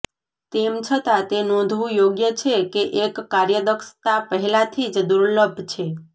તેમ છતાં તે નોંધવું યોગ્ય છે કે એક કાર્યદક્ષતા પહેલાથી જ દુર્લભ છે